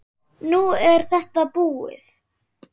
Nú er þetta búið.